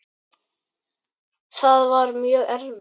Það var mjög erfitt.